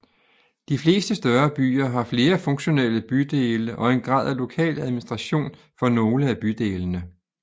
De fleste større byer har flere funktionelle bydele og en grad af lokal administration for nogle af bydelene